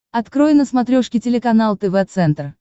открой на смотрешке телеканал тв центр